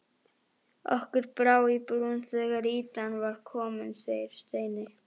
Okkur brá í brún þegar ýtan var komin segir Steini.